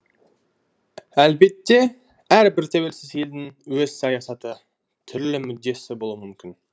әлбетте әрбір тәуелсіз елдің өз саясаты түрлі мүддесі болуы мүмкін